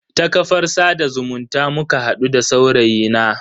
Ta kafar sada zumunta muka hadu da saurayi na.